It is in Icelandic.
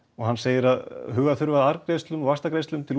og hann segir að huga þurfi að arðgreiðslum og vaxtagreiðslum til